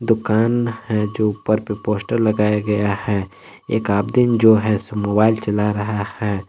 दुकान है जो ऊपर पे पोस्टर लगाया गया है एक आमदिन जो है मोबाइल चला रहा है।